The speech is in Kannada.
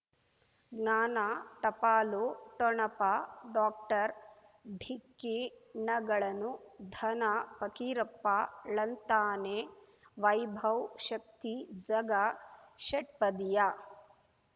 ಜ್ಞಾನ ಟಪಾಲು ಠೊಣಪ ಡಾಕ್ಟರ್ ಢಿಕ್ಕಿ ಣಗಳನು ಧನ ಫಕೀರಪ್ಪ ಳಂತಾನೆ ವೈಭವ್ ಶಕ್ತಿ ಝಗಾ ಷಟ್ಪದಿಯ